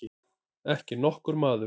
Ekki nokkur maður.